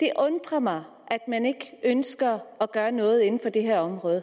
det undrer mig at man ikke ønsker at gøre noget inden for det her område